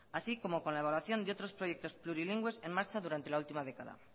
así como la evaluación de otros proyectos plurilingües en marcha durante la última década